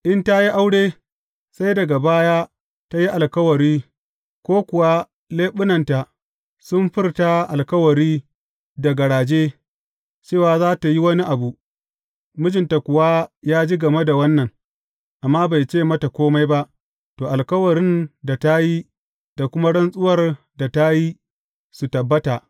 In ta yi aure, sai daga baya ta yi alkawari ko kuwa leɓunanta sun furta alkawari da garaje, cewa za tă yi wani abu, mijinta kuwa ya ji game da wannan, amma bai ce mata kome ba, to, alkawarin da ta yi da kuma rantsuwar da ta yi, su tabbata.